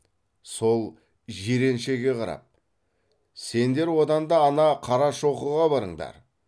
сол жиреншеге қарап сендер одан да ана қарашоқыға барыңдар